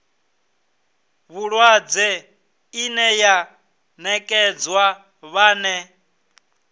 vhulwadze ine ya nekedzwa vhane